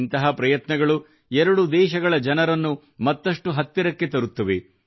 ಇಂತಹ ಪ್ರಯತ್ನಗಳು ಎರಡು ದೇಶಗಳ ಜನರನ್ನು ಮತ್ತಷ್ಟು ಹತ್ತಿರಕ್ಕೆ ತರುತ್ತವೆ